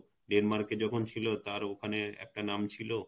Denmark এ যখন ছিল তার ওখানে একটা নাম ছিল